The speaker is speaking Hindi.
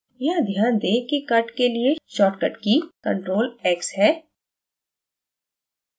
यहां ध्यान दें कि cut key लिए shortcut की key ctrl + x है